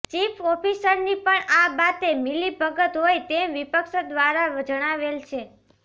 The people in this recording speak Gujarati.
ચીફ ઓફીસરની પણ આ બાતે મીલીભગત હોય તેમ વિપક્ષ દ્વારા જણાવેલ છે